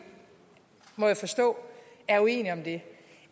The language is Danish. må jeg forstå er uenige om det